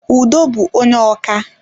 Udo bú onye ọkà